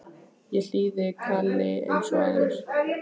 Ég hlýði kalli eins og aðrir.